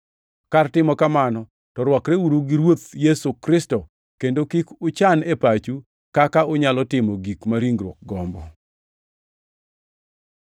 Kar timo kamano, to rwakreuru gi Ruoth Yesu Kristo, kendo kik uchan e pachu kaka unyalo timo gik ma ringruok gombo.